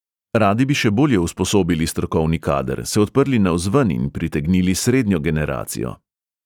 Radi bi še bolje usposobili strokovni kader, se odprli navzven in pritegnili srednjo generacijo.